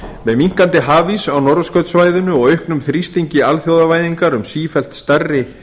með minnkandi hafís á norðurskautssvæðinu og auknum þrýstingi alþjóðavæðingar um sífellt stærri